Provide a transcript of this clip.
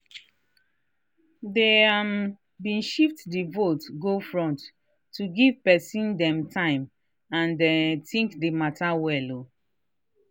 dey um been shift the vote go front to give pesin dem time and um think the matter well.